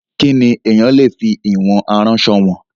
Kí ni èèyàn le fi ìwọ̀n aránsọ wọ̀n?